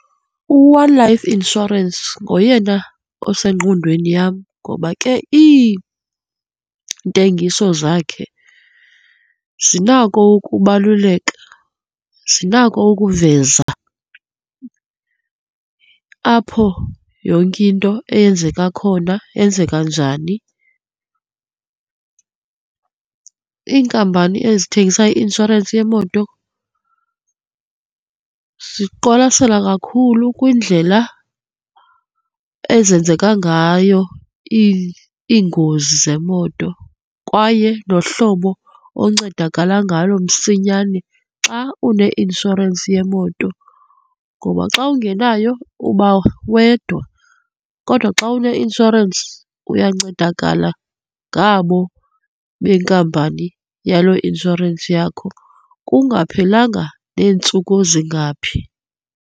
U-One Life Insurance ngoyena osengqondweni yam ngoba ke iintengiso zakhe zinako ukubaluleka, zinako ukuveza apho yonke into eyenzeka khona, yenzeka njani. Iinkampani ezithengisa i-inshorensi yemoto ziqwalasela kakhulu kwindlela ezenzeka ngayo iingozi zemoto kwaye nohlobo oncedakala ngalo msinyane xa une-inshorensi yemoto. Ngoba xa ungenayo uba wedwa kodwa xa une-inshorensi uyancedakala ngabo benkampani yaloo inshorensi yakho, kungaphelanga neentsuku ezingaphi.